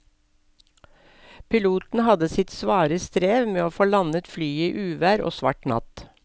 Piloten hadde sitt svare strev med å få landet flyet i uvær og svart natt.